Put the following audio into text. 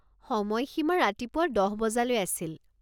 সময়সীমা ৰাতিপুৱা দহ বজালৈ আছিল।